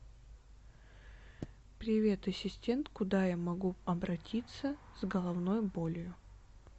привет ассистент куда я могу обратиться с головной болью